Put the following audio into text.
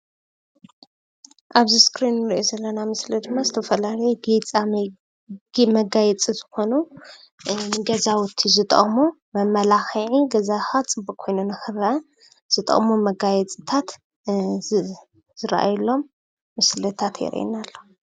ኣብዚ እስክሪን ንሪኦ ዘለና ምስሊ ድማ ዝተፈላለየ ጌፃመጊ መጋየፂ ዝኾኑ ንገዛውቲ ዝጠቕሙ መመላኽዒ ገዛኻ ፅቡቕ ኮይኑ ንኽረአ ዝጠቕሙ መጋየፂታት ዝረኣየሎም ምስልታት የርእየና ኣሎ።